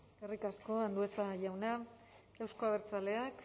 eskerrik asko andueza jauna euzko abertzaleak